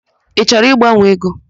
Ị chọrọ ịgbanwe ego?